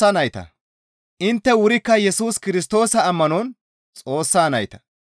Intte wurikka Yesus Kirstoosa ammanon Xoossa nayta.